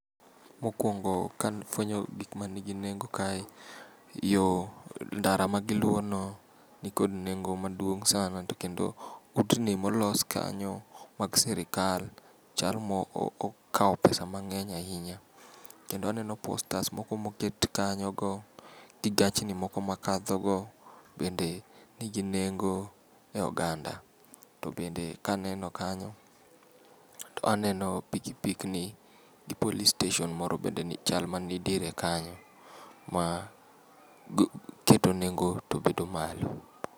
Mokuongo ka afuenyo gik man kod nengo, yo ndara magiluwono ni kod nengo maduong' sana. To kendo utni molos kanyo mag sirkal chal ma okawo pesa mang'eny ahinya. Kendo aneno postas moko moket kanyogo, gi gachni makadhogo bende nigi nengo eoganda. To bende kaneno kanyo to aneno piki pikni gi police station bende chal man tiere kanyo ma keto nengo to bedo malo.